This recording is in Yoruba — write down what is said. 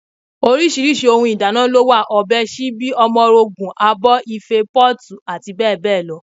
Oríṣiríṣi ohun èlò ìdáná ni ó wà: ọ̀bẹ, síbí, omorogùn, abọ́, Ife, pọ́ọ̀tù, àti bẹ́ẹ̀ bẹ́ẹ̀ lọ